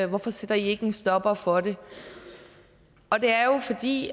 hvorfor sætter i ikke en stopper for det og det er jo fordi